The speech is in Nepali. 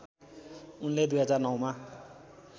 उनले २००९ मा